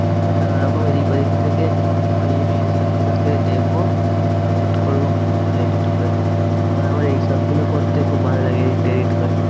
নানারকম এদিক ওদিক থেকে free গুলোকে দেখবো, download করবো, করে edit করে দেব। আমার আবার এইসব গুলো করতে খুব ভালো লাগে edit টেডিট করতে।